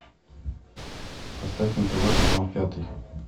поставь на тв канал пятый